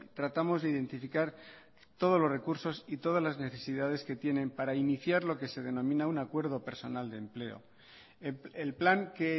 tratamos de identificar todos los recursos y todas las necesidades que tienen para iniciar lo que se denomina un acuerdo personal de empleo el plan que